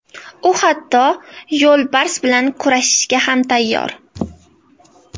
U hatto yo‘lbars bilan kurashga ham tayyor.